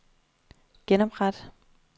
genopret